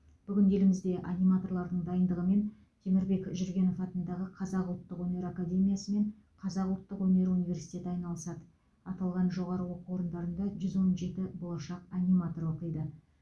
бүгін елімізде аниматорлардың дайындығымен темірбек жүргенов атындағы қазақ ұлттық өнер академиясы мен қазақ ұлттық өнер университеті айналысады аталған жоғары оқу орындарында жүз он жеті болашақ аниматор оқиды